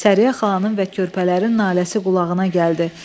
Səriyyə xanımın və körpələrin naləsi qulağına gəldi.